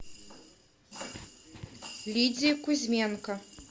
лидии кузьменко